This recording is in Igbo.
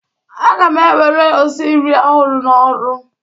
Aga m ewere osinri ọhụrụ n'ọrụ.